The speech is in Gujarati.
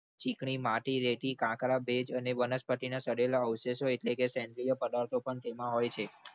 ચીકણી માંથી રેતી કાંકરા અને વનસ્પતિના અવશેષો સેન્દ્રીય પદાર્થો પણ તેમાં હોય છે.